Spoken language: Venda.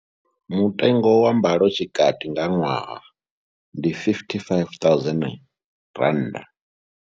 Mutengo wa mbalotshikati nga ṅwaha ndi R55 000.